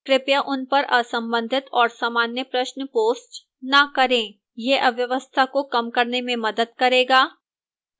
कृपया उन पर असंबंधित और सामान्य प्रश्न post न करें यह अव्यवस्था को कम करने में मदद करेगा